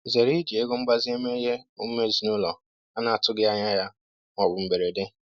Zere iji ego mgbazinye mee ihe omume ezinụlọ a na-atụghị anya ya ma ọ bụ mberede.